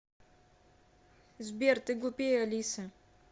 сбер ты глупее алисы